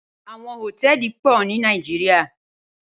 Awòn hótèlí pò ni Nàijiriá